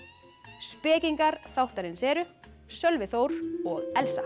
spekingar þáttarins eru Sölvi Þór og Elsa